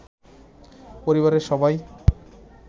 পরিবারের সবাই